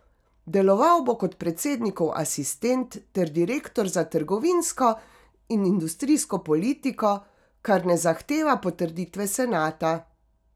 Deloval bo kot predsednikov asistent ter direktor za trgovinsko in industrijsko politiko, kar ne zahteva potrditve senata.